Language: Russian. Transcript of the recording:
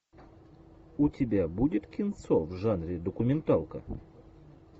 у тебя будет кинцо в жанре документалка